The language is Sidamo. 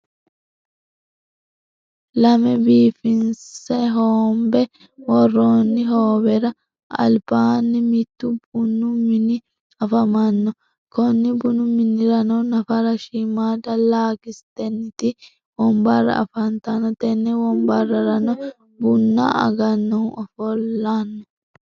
lamme biifinse hoonbe woroonni hoowera alibaani mittu bunnu minni afamanno konni bunnu minirano nafara shiimada lakisiteniti wonbara afantano tenne wonbareranno bunna agannohu ofollanno.